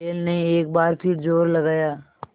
बैल ने एक बार फिर जोर लगाया